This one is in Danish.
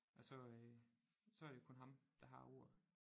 Også øh så er det jo kun ham der har ordet